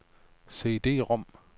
CD-rom